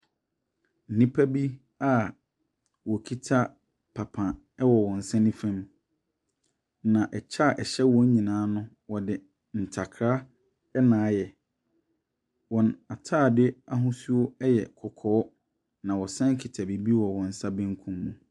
Nnipa bi a wɔkita papa wɔ wɔn nsa nifa mu, na ɛkyɛ a ɛhyɛ wɔn nyinaa no, wɔde ntakra na ayɛ. Wɔn antaadeɛ ahosuo yɛ kɔkɔɔ na wɔsa kita biribi wɔ wɔn nsa benkum mu.